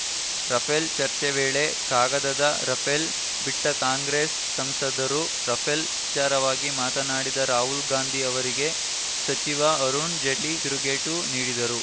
Rafale ಚರ್ಚೆ ವೇಳೆ ಕಾಗದದ ರಫೇಲ್‌ ಬಿಟ್ಟಕಾಂಗ್ರೆಸ್‌ ಸಂಸದರು ರಫೇಲ್‌ ವಿಚಾರವಾಗಿ ಮಾತನಾಡಿದ ರಾಹುಲ್‌ ಗಾಂಧಿ ಅವರಿಗೆ ಸಚಿವ ಅರುಣ್‌ ಜೇಟ್ಲಿ ತಿರುಗೇಟು ನೀಡಿದರು